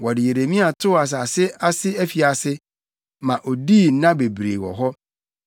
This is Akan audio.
Wɔde Yeremia too asase ase afiase, ma odii nna bebree wɔ hɔ.